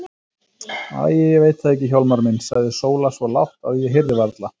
Æi, ég veit það ekki Hjálmar minn, sagði Sóla svo lágt, að ég heyrði varla.